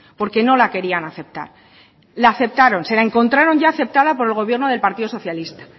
porque no la querían aceptar la aceptaron se la encontraron ya aceptada por el gobierno del partido socialista